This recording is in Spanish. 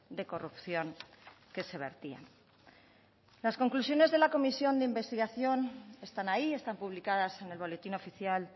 de corrupción que se vertían las conclusiones de la comisión de investigación están ahí están publicadas en el boletín oficial